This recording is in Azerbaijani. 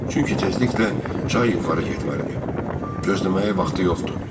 Çünki tezliklə çay yuxarı getməlidir, gözləməyə vaxtı yoxdur.